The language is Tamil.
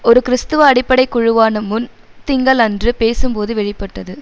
ஒரு கிறிஸ்துவ அடிப்படை குழுவான முன் திங்கள் அன்று பேசும்போது வெளி பட்டது